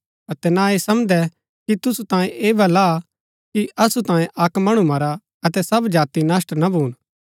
अतै ना ऐह समझदै कि तुसु तांयें ऐह भला हा कि असु तांयें अक्क मणु मरा अतै सब जाति नष्‍ट ना भून